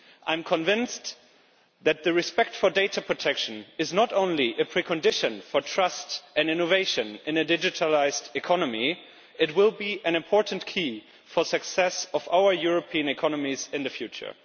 I am convinced that respect for data protection is not only a precondition for trust and innovation in a digitalised economy, but it will be an important key for the success of our European economies in the future.